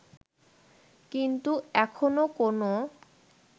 কিন্তু এখনও কোনও